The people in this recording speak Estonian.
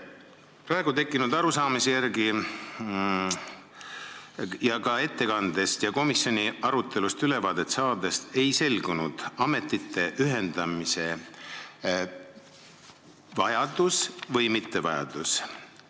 Praegu mul tekkinud arusaamise järgi, olles ka ettekannet kuulanud ja komisjoni arutelust ülevaate saanud, ei saanud selgeks ametite ühendamise vajadus või mittevajadus.